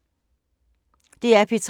DR P3